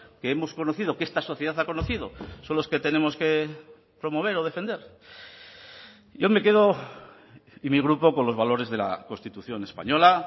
que hemos conocido que esta sociedad ha conocido son los que tenemos que promover o defender yo me quedo y mi grupo con los valores de la constitución española